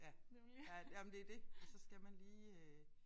Ja ja ja men det det og så skal man lige øh